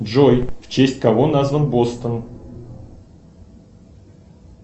джой в честь кого назван бостон